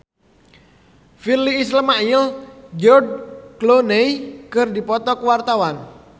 Virnie Ismail jeung George Clooney keur dipoto ku wartawan